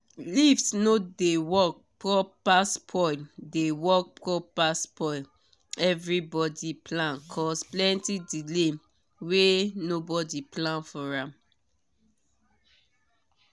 lift no dey work properspoil dey work properspoil everybody plan cause plenty delay were nobody plan for am